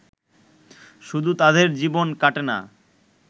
শুধু তাঁদের জীবন কাটে না